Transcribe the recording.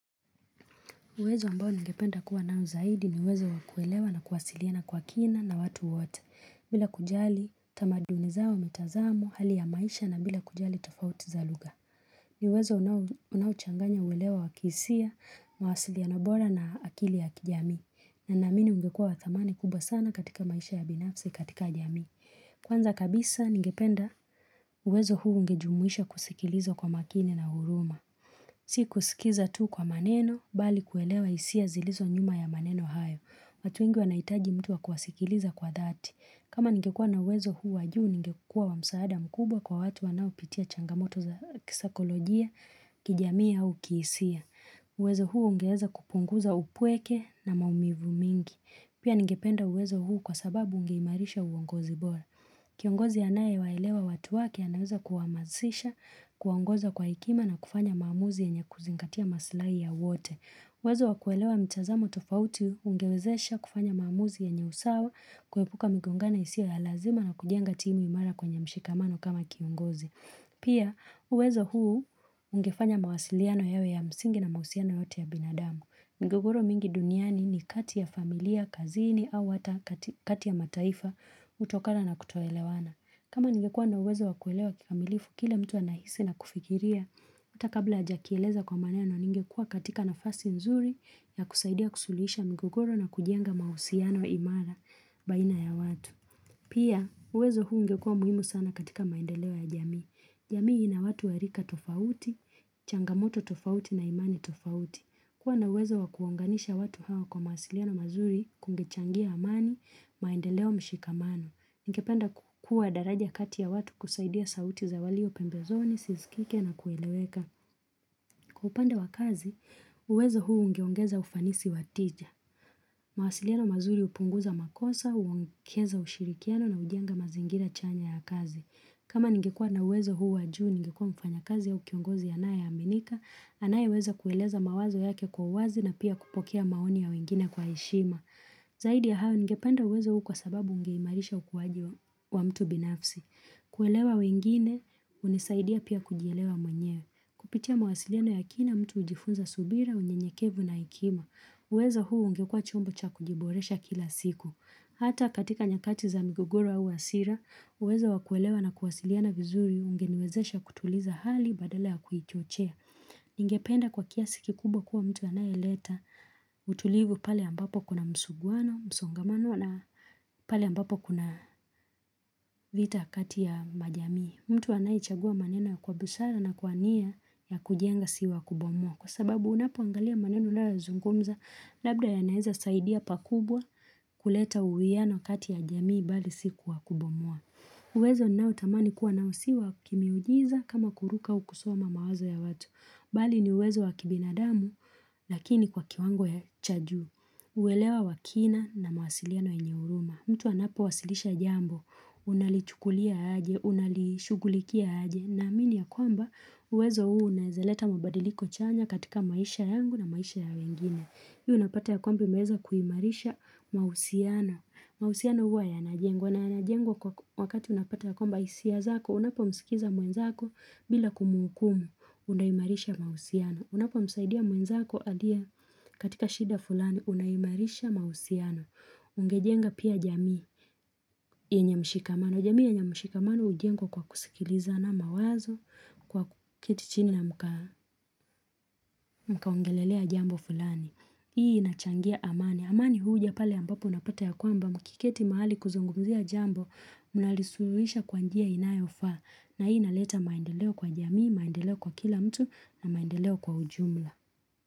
Uwezo ambao ngependa kuwa nao zaidi ni uwezo wakuelewa na kuwasiliana kwa kina na watu wote. Bila kujali, tamadunizao wa metazamu, hali ya maisha na bila kujali tofauti za luga. Ni uwezo unawuchanganya uwelewa wakisia, mawasiliana bora na akili ya kijami. Na namini ungekua wathamani kubwa sana katika maisha ya binafsi katika jami. Kwanza kabisa, ningependa uwezo huu ungejumuisha kusikiliza kwa makini na huruma. Si kusikiza tu kwa maneno, bali kuelewa isia zilizo nyuma ya maneno hayo. Watu wengi wanaitaji mtu wakwasikiliza kwa dhati. Kama ningekua na wezo huu wajuu, ngekua wamsaada mkubwa kwa watu wanaupitia changamoto za kisakolojia, kijamii au kihisia. Wezo huu ungeweza kupunguza upweke na maumivu mingi. Pia ngependa wezo huu kwa sababu ungeimarisha uongozi bora. Kiongozi ya nae waelewa watu wake anaweza kuwamasisha, kuwangoza kwa ikima na kufanya maamuzi ya nye kuzingatia masilai ya wote. Wezo wakuelewa mtiazamo tofauti ungewezesha kufanya maamuzi ya nye usawa kuepuka migongongano isiyo ya lazima na kujenga timu imara kwenye mshikamano kama kiongozi. Pia uwezo huu ungefanya mawasiliano yawe ya msingi na mahusiano yote ya binadamu. Migogoro mingi duniani ni kati ya familia, kazini au wata kati ya mataifa kutokana na kutoelewana. Kama ingeekua na uwezo wakuelewa kikamilifu, kile mtu anahisi na kufikiria, utakabla ajakieleza kwa maneno ninggekua katika na fasi nzuri ya kusaidia kusulisha migogoro na kujenga mausiano imara baina ya watu. Pia, uwezo huu ngekua muhimu sana katika maendeleo ya jamii. Jamii ina watu warika tofauti, changamoto tofauti na imani tofauti. Kwa naweza wakuonganisha watu hawa kwa mahasiliano mazuri kungechangia amani, maendeleo mshikamano. Ngpenda kukua daraja kati ya watu kusaidia sauti za walio pembezoni, sisikike na kueleweka. Kwa upande wakazi, uwezo huu ungeongeza ufanisi watija. Mawasiliano mazuri upunguza makosa, uongeza ushirikiano na ujenga mazingira chanya ya kazi. Kama ngekua naweza huu wajuu, ngekua mfanya kazi ya ukiongozi ya nae ya minika, anaye weza kueleza mawazo yake kwa wazi na pia kupokea maoni ya wengine kwa ishima. Zaidi ya hao ngependa uweza huu kwa sababu ungeimarisha ukuwaji wa mtu binafsi. Kuelewa wengine, unisaidia pia kujielewa mwenyewe. Kupitia mawasiliano ya kina mtu ujifunza subira, unye nyekevu na ikima. Uweza huu ungekua chombo cha kujiboresha kila siku. Hata katika nyakati za migogoro au hasira, uwezo wakuelewa na kuwasiliana vizuri unge niwezesha kutuliza hali badala ya kuiochea. Ningependa kwa kiasiki kkubwa kuwa mtu anayeleta utulivu pale ambapo kuna msuguano, msongamano na pale ambapo kuna vita kati ya majamii. Mtu anayichagua maneno kwa busara na kwa ania ya kujenga siwa kubomwa. Kwa sababu unapo angalia maneno lbda unayozungumza labda ya naeza saidia pakubwa kuleta uwiano kati ya jamii bali si kubomoa. Uwezo ninautamani kuwa nausiwa kimi ujiza kama kuruka ukusoma mawazo ya watu. Bali ni uwezo wakibinadamu, lakini kwa kiwango ya chajuu, uwelewa wakina na mawasiliano enyeuruma, mtu anapo wasilisha jambo, unalichukulia haje, unalishugulikia haje, na amini ya kwamba, uwezo uu naezeleta mabadiliko chanya katika maisha yangu na maisha ya wengine, Hii unapata ya kwamba imeza kuhimarisha mausiano. Mausiano huwa ya najengwa. Na najengwa kwa wakati unapata ya kwamba isiazako, unapo msikiza mwenzako bila kumuukumu, unayimarisha mausiana. Unapo msaidia mwenzako aidia katika shida fulani, unayimarisha mausiana. Ungejenga pia jamii yenye mshikamano. Jamii yenye mshikamano ujengwa kwa kusikiliza na mawazo kwa kuketichini na mkaongelelea jambo fulani. Hii inachangia amani, amani huuja pale ambapo unapata ya kwamba mkiketi mahali kuzongumzia jambo mnalisurisha kwa njia inayo fa na hii naleta maendeleo kwa jamii, maendeleo kwa kila mtu na maendeleo kwa ujumla.